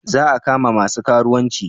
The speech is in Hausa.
Za a kama masu karuwanci?